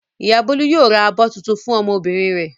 Ìyá Bólú yóò ra abọ́ tuntun fún ọmọbìnrin rẹ̀.